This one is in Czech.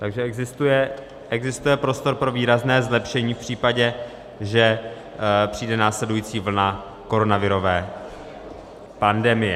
Takže existuje prostor pro výrazné zlepšení v případě, že přijde následující vlna koronavirové pandemie.